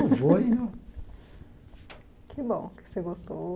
Vou. Que bom que você gostou.